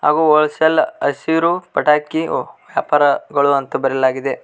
ಹಾಗೂ ಹೊಲ್ಸೇಲ್ ಹಸಿರು ಪಟಾಕಿ ಒ ವ್ಯಾಪಾರಗಳು ಅಂತ ಬರೆಯಲಾಗಿದೆ.